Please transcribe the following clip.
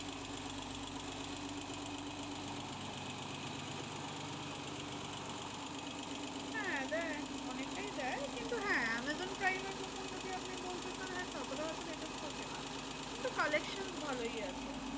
হ্যাঁ দেয় অনেকটাই দেয়। কিন্তু হ্যাঁ amazon prime মতন যদি আপনি বলতে চান হ্যাঁ ততটা হয়তো better থাকে না। কিন্তু collections ভালোই আছে।